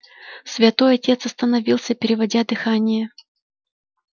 святой отец остановился переводя дыхание